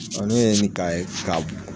ne ye ni k'a ye k'a b